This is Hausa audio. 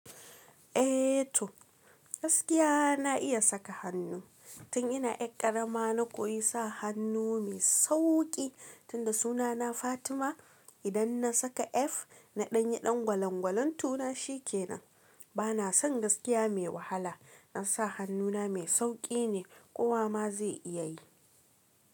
Eh toh, gaskiya na iya saka hannu. Tun ina 'yar ƙarama na koyi sa hannu mai sauƙi, tunda sunana Fatima idan na saka “F” na ɗanyi ɗan gwalangwalan tona shi kenan. Bana son gaskiya mai wahala, dan sa hannuna mai sauƙi ne, kowa ma zai iya yi.